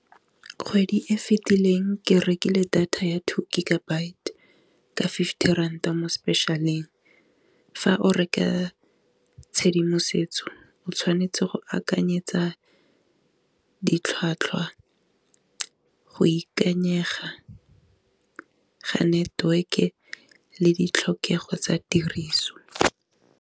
Kgwedi e fetileng ke rekile data ya teo gigabyte ka fifty ranta mo special-eng fa o reka tshedimosetso o tshwanetse go a akanyetsa ditlhwatlhwa go ikanyega ga network-e le ditlhokego tsa tiriso.